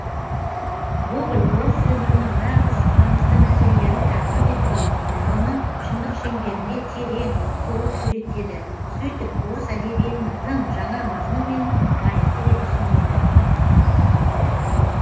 гоголь орыс өмірінің нағыз маңызды мәселелерін тақырып етіп алып оны шындық шеңберінде терең толық суреттеді сөйтіп орыс әдебиетін тың жаңа мазмұнмен байытты деп түсіндірді